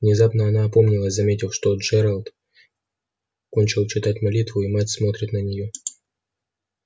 внезапно она опомнилась заметив что джералд кончил читать молитву и мать смотрит на нее